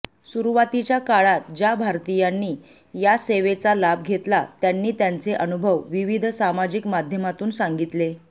सुरुवातीच्या काळात ज्या भारतीयांनी या सेवेचा लाभ घेतला त्यांनी त्यांचे अनुभव विविध सामाजिक माध्यमातून सांगितले